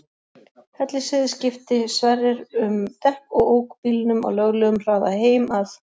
Hellisheiði skipti Sverrir um dekk og ók bílnum á löglegum hraða heim að